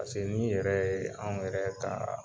n'i yɛrɛ anw yɛrɛ ka